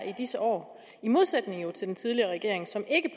i disse år i modsætning til den tidligere regering som ikke